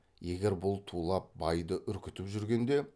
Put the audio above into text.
егер бұл тулап байды үркітіп жүргенде